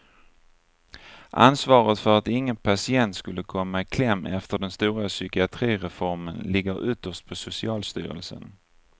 Ansvaret för att ingen patient skulle komma i kläm efter den stora psykiatrireformen ligger ytterst på socialstyrelsen.